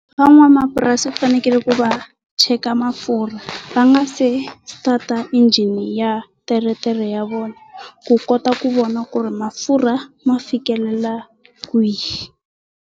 Van'wamapurasi va fanekele ku va cheka mafurha va nga se ta ta injhini ya teretere ya vona ku kota ku vona ku ri mafurha ma fikelela kwihi.